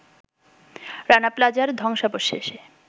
রানা প্লাজার ধ্বংসাবশেষে